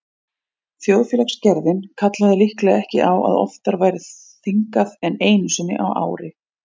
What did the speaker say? Þjóðfélagsgerðin kallaði líklega ekki á að oftar væri þingað en einu sinni á ári.